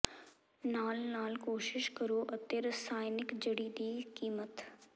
ਨਾਲ ਨਾਲ ਕੋਸ਼ਿਸ਼ ਕਰੋ ਅਤੇ ਰਸਾਇਣਕ ਜੜੀ ਦੀ ਕੀਮਤ